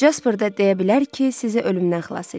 Casper də deyə bilər ki, sizi ölümdən xilas eləyib.